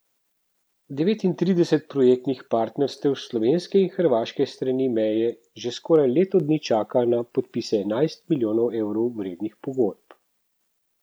Devetintrideset projektnih partnerstev s slovenske in hrvaške strani meje že skoraj leto dni čaka na podpise enajst milijonov evrov vrednih pogodb.